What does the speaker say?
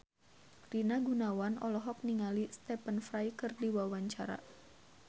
Rina Gunawan olohok ningali Stephen Fry keur diwawancara